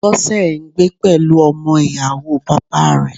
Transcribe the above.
Bọ́sẹ̀ ń gbé pẹ̀lú ọmọ Ìyàwóo bàbáa rẹ̀